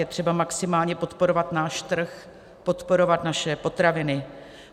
Je třeba maximálně podporovat náš trh, podporovat naše potraviny.